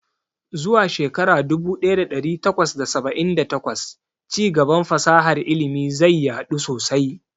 Zuwa shekara dubu ɗaya da ɗari takwas da saba'in da takwas, ci gaban fasahar ilimi zai yadu sosai.